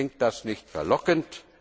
Klingt das nicht verlockend?